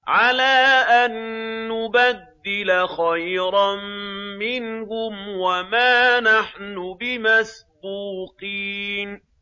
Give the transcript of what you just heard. عَلَىٰ أَن نُّبَدِّلَ خَيْرًا مِّنْهُمْ وَمَا نَحْنُ بِمَسْبُوقِينَ